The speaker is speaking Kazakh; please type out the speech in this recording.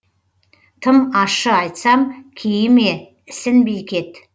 тым ащы айтсам кейіме ісінбей кет